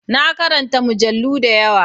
Na katanta mujallu da yawa.